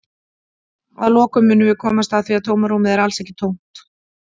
Að lokum munum við komast að því að tómarúmið er alls ekki tómt!